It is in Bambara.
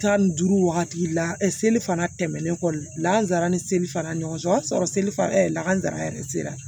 Tan ni duuru wagati la seli fana tɛmɛnen kɔ lankazara ni seli fana ɲɔgɔn o y'a sɔrɔ seli fana lakana yɛrɛ sera